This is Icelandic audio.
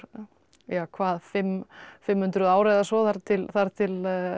ja hvað fimm fimm hundruð ár eða svo þar til þar til